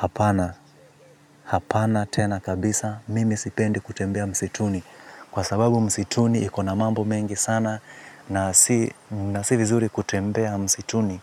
Hapana, hapana tena kabisa, mimi sipendi kutembea msituni. Kwa sababu msituni iko na mambo mengi sana na si vizuri kutembea msituni.